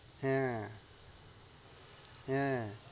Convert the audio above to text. হ্যাঁ, হ্যাঁ